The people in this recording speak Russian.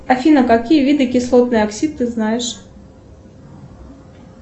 афина какие виды кислотный оксид ты знаешь